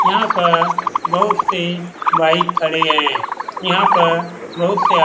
यहाँ पर बहुत से बाइक खड़े है। यहाँ पर बहुत से आ --